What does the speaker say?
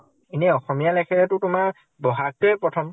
ইনে অসমীয়া লেখেহেটো তোমাৰ বʼহাগটোয়ে প্ৰথম।